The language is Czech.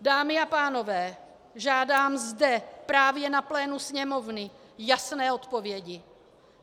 Dámy a pánové, žádám zde, právě na plénu Sněmovny, jasné odpovědi.